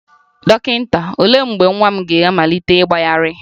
Dọkịta, olee mgbe nwa m ga-amalite ịgbagharị?